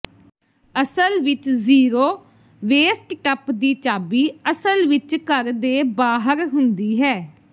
ਅਸਲ ਵਿਚ zero waste ਟੱਪ ਦੀ ਚਾਬੀ ਅਸਲ ਵਿਚ ਘਰ ਦੇ ਬਾਹਰ ਹੁੰਦੀ ਹੈ